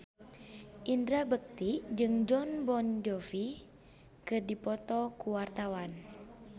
Indra Bekti jeung Jon Bon Jovi keur dipoto ku wartawan